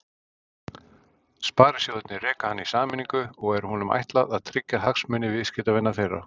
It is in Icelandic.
Sparisjóðirnir reka hann í sameiningu og er honum ætlað að tryggja hagsmuni viðskiptavina þeirra.